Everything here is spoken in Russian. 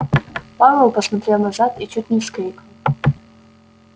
пауэлл посмотрел назад и чуть не вскрикнул